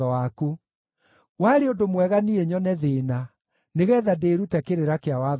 Warĩ ũndũ mwega niĩ nyone thĩĩna, nĩgeetha ndĩĩrute kĩrĩra kĩa watho waku.